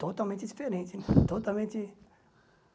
Totalmente diferente, totalmente